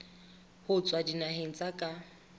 ho tswa dinaheng tsa ka